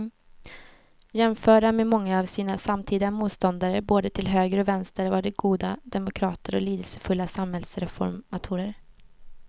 Jämförda med många av sina samtida motståndare både till höger och vänster var de goda demokrater och lidelsefulla samhällsreformatorer.